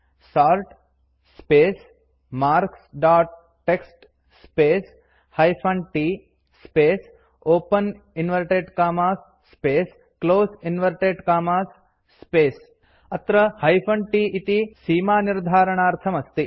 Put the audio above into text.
sort space marks dot TXT space hyphen t space open inverted commas space close inverted commas space अत्र hyphen t इति सीमानिर्धारणार्थम् अस्ति